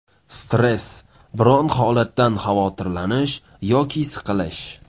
Stress Biron holatdan xavotirlanish yoki siqilish.